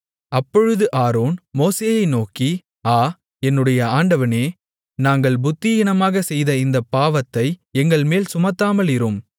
அப்பொழுது ஆரோன் மோசேயை நோக்கி ஆ என்னுடைய ஆண்டவனே நாங்கள் புத்தியீனமாகச் செய்த இந்தப் பாவத்தை எங்கள்மேல் சுமத்தாமலிரும்